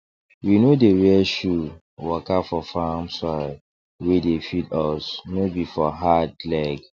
we no dey wear shoe waka for farm soil wey dey feed us no be for hard leg